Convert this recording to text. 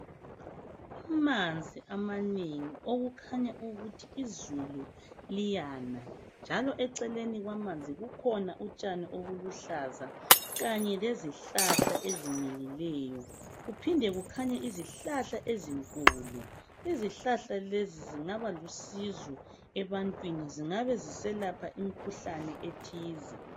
amanzi amanengi okukhanya ukuthi izulu liyana njalo eceleni kwamanzi kukhona utshani obuluhlaza kanye lezihlahla ezimilileyo kuphinde kukhanye izihlahla ezinkulu izihlahla lezi zingaba lusizo ebantwini zingabe ziselapha imikhuhlane ethile